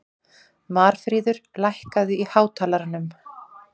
Marfríður, lækkaðu í hátalaranum.